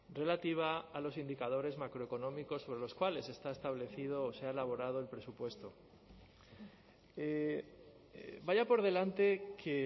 relativa a los indicadores macroeconómicos sobre los cuales está establecido o se ha elaborado el presupuesto vaya por delante que